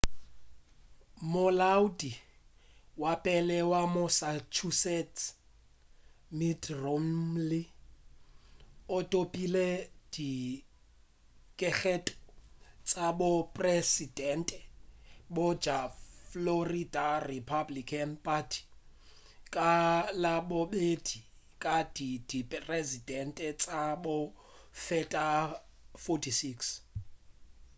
molaodi wa pele wa massachusetts mitt romney o thopile dikgetho tša bopresedente bja florida republican party ka labobedi ka diperesente tša go feta 46